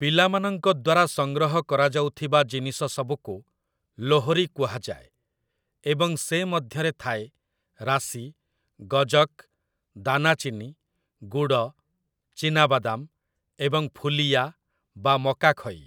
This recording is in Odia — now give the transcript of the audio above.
ପିଲାମାନଙ୍କ ଦ୍ୱାରା ସଂଗ୍ରହ କରାଯାଉଥିବା ଜିନିଷସବୁକୁ ଲୋହ୍‌ରି କୁହାଯାଏ, ଏବଂ ସେ ମଧ୍ୟରେ ଥାଏ ରାଶି, ଗଜକ୍, ଦାନାଚିନି, ଗୁଡ଼, ଚିନାବାଦାମ୍ ଏବଂ ଫୁଲିୟା ବା ମକାଖଇ ।